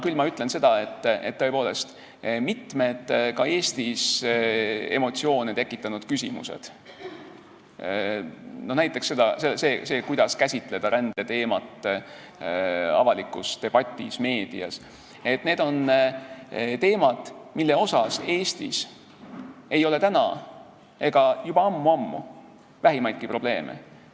Küll ütlen seda, et mitmed ka Eestis emotsioone tekitanud küsimused, näiteks see, kuidas käsitleda rändeteemat avalikus debatis, meedias, on teemad, millega Eestis ei ole täna ega juba ammu-ammu vähimaidki probleeme.